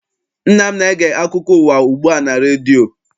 Nna m na-ege akụko ụwa ugbu a na redio.